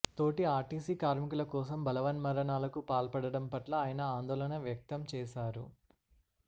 తోటి ఆర్టీసీ కార్మికుల కోసం బలవన్మరణాలకు పాల్పడడం పట్ల ఆయన ఆందోళన వ్యక్తం చేశారు